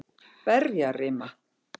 Berjarima